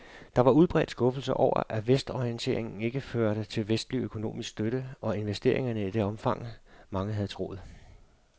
Og der var udbredt skuffelse over, at vestorienteringen ikke førte til vestlig økonomisk støtte og investeringer i det omfang, mange havde troet.